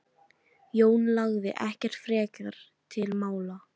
Jón lagði ekkert frekar til mála.